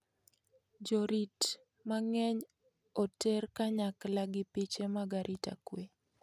Jorit mang'eny oter kanyakla gi piche mag arita kwe.